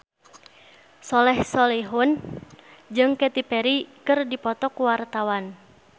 Soleh Solihun jeung Katy Perry keur dipoto ku wartawan